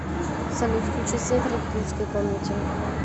салют включи свет в родительской комнате